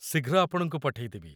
ଶୀଘ୍ର ଆପଣଙ୍କୁ ପଠେଇଦେବି!